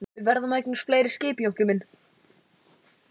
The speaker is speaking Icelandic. En við verðum að eignast fleiri skip Jónki minn.